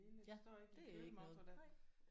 Ja det er ikke noget nej